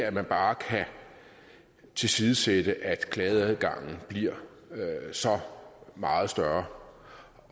at man bare kan tilsidesætte at klageadgangen bliver så meget større